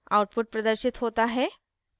output प्रदर्शित होता है